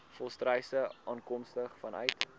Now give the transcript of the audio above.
volstruise afkomstig vanuit